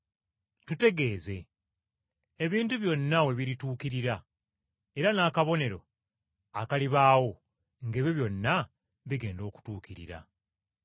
“Tutegeeze, ebintu byonna we birituukirira, era n’akabonero akalibaawo ng’ebyo byonna bigenda okutuukirira.”